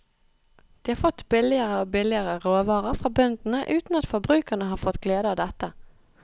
De har fått billigere og billigere råvarer fra bøndene uten at forbrukerne har fått glede av dette.